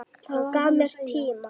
Hann gaf mér tíma.